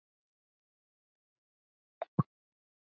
Ekkert fór framhjá henni.